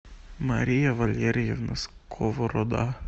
мария валерьевна сковорода